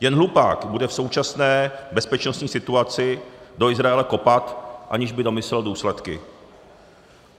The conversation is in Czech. Jen hlupák bude v současné bezpečnostní situaci do Izraele kopat, aniž by domyslel důsledky.